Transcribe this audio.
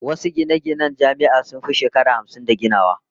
Wasu gine-ginen Jami'a sun fi shekaru hamsin da ginawa